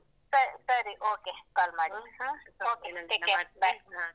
ಸರಿ ಸರಿ okay call ಮಾಡು okay take care bye .